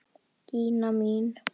Gína mín!